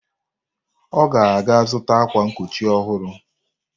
Ọ ga-aga zụta akwa nkochi ọhụrụ.